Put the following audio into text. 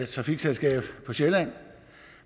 trafikselskab på sjælland